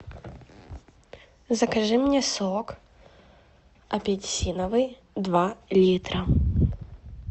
закажи мне сок апельсиновый два литра